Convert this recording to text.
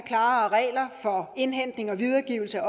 klare regler for indhentning og videregivelse af